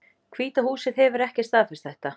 Hvíta húsið hefur ekki staðfest þetta